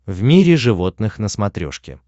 в мире животных на смотрешке